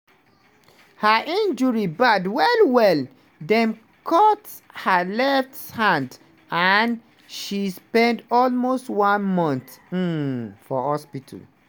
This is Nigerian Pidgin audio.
her injury bad well-well – dem cut her left hand and she spend almost one month um for hospital.